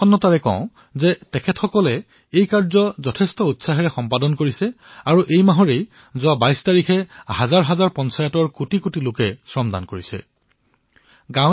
এই কামত তেওঁলোকে উৎসাহ প্ৰদৰ্শিত কৰি এই মাহৰ ২২ তাৰিখে সহস্ৰাধিক পঞ্চায়তত কোটি কোটি লোক শ্ৰমদান কৰাৰ বাবে মই সুখী হৈছো